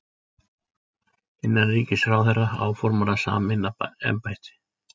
Innanríkisráðherra áformar að sameina embættin